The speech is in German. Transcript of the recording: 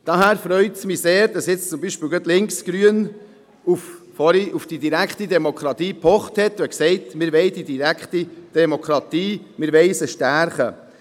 Daher freut es mich sehr, dass gerade die links-grüne Seite vorhin auf die direkte Demokratie gepocht und gesagt hat, sie wolle diese stärken.